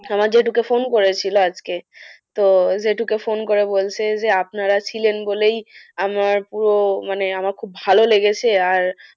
আমার জেঠুকে phone করেছিল আজকে, তো জেঠুকে phone করে বলছে যে আজকে আপনারা ছিলেন বলেই আমার পুরো মানে আমার খুব ভালো লেগেছে আর